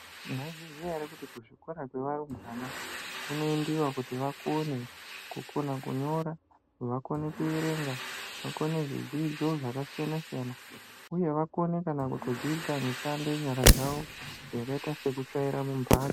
Mwaizviziya ere kuti kuzvikora zvevarumbwana kunoendiwa kuti vakone kunyora, vakone kuerenga, vakone kuite zvidzidzo zvakasiyana siyana uye vakone kana kutodzidza mishando yenyara dzavo yakaite sekutsvaira mumhatso.